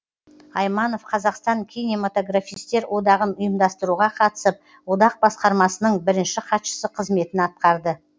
айманов қазақстан кинематографистер одағын ұйымдастыруға қатысып одақ басқармасының бірінші хатшысы қызметін атқарды